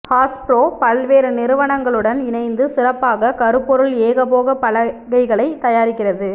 Hasbro பல்வேறு நிறுவனங்களுடன் இணைந்து சிறப்பாக கருப்பொருள் ஏகபோக பலகைகளை தயாரிக்கிறது